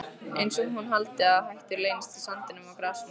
Einsog hún haldi að hættur leynist í sandinum og grasinu.